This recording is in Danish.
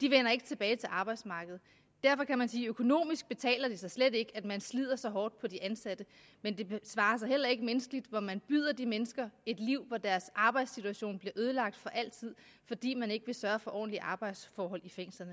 vender ikke tilbage til arbejdsmarkedet derfor kan man sige at økonomisk betaler det sig slet ikke at man slider så hårdt på de ansatte men det svarer sig heller ikke menneskeligt når man byder de mennesker et liv hvor deres arbejdssituation bliver ødelagt for altid fordi man ikke vil sørge for ordentlige arbejdsforhold i fængslerne